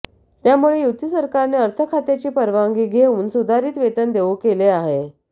त्यामुळे युती सरकारने अर्थखात्याची परवानगी घेऊन सुधारित वेतन देऊ केले आहे